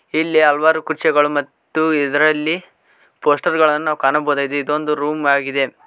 ಇಲ್ಲಿ ಹಲವಾರು ಕುರ್ಚಿಗಳು ಮತ್ತು ಇದರಲ್ಲಿ ಪೋಸ್ಟರ್ ಗಳನ್ನು ಕಾಣಬಹುದಾಗಿದೆ ಇದೊಂದು ರೂಮ್ ಆಗಿದೆ.